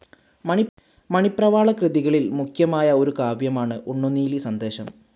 മണിപ്രവാളകൃതികളിൽ മുഖ്യമായ ഒരു കാവ്യമാണ് ഉണ്ണുനീലിസന്ദേശം.